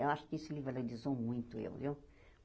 Eu acho que isso me valorizou muito, eu viu?